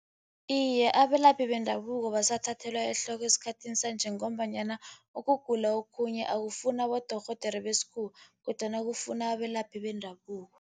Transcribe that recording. Iye, abelaphi bendabuko basathathelwa ehloko esikhathini sanje, ngombanyana ukugula okhunye akufuni abodorhodere besikhuwa, kodwana kufuna abelaphi bendabuko.